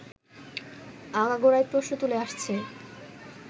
আগাগোড়াই প্রশ্ন তুলে আসছে